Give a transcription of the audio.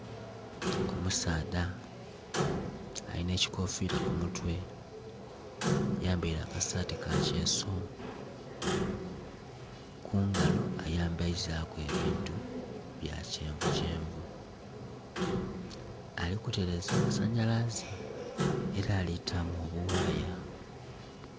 Omusaadha alina ekikofila ku mutwe, ayambaire akasati ka kyeso kungalo ayambaizaku ebintu bya kyenvu kyenvu ali kutereza masanhalaze era ali kutamu obuwaya.